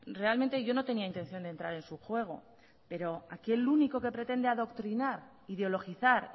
realmente yo no tenía intención de entrar en su juego pero aquí el único que pretende adoctrinar ideologizar